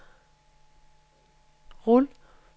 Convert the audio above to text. rul